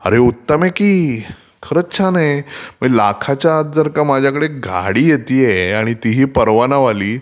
अरे उत्तम आहे की, खरच छान आहे, म्हणजे लाखाच्या आत जर का माझ्याकडे गाडी येतेय आणि ती ही परवानावाली